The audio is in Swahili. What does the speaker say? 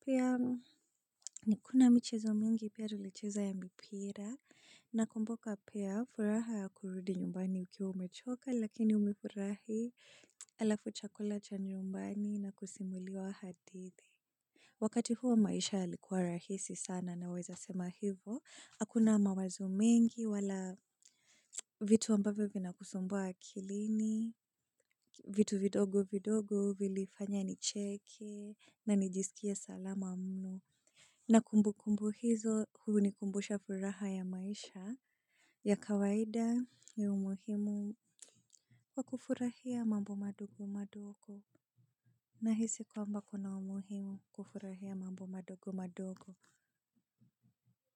Pia ni kuna michezo mingi pia tulicheza ya mipira na kumbuka pia furaha ya kurudi nyumbani ukiwa umechoka lakini umefurahi alafu chakula chanyumbani na kusimuliwa hadithi. Wakati huo maisha yalikuwa rahisi sana na weza sema hivo, hakuna mawazo mengi wala vitu ambavyo vina kusumbua akilini, vitu vidogo vidogo vili fanya nicheke na nijisikie salama mno. Na kumbu kumbu hizo huu ni kumbusha furaha ya maisha. Ya kawaida ni umuhimu wakufurahia mambo madogo madogo. Nahisi kwamba kuna umuhimu kufurahia mambo madogo madogo.